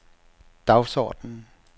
dagsorden